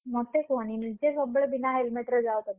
ମତେ କୁହନି ନିଜେ ସବୁବେଳେ ବିନା helmet ରେ ଯାଅ ତମେ।